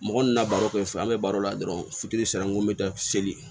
Mɔgɔ nana baro kɛ fo an be baro la dɔrɔn fitiri sera n ko n bɛ taa seli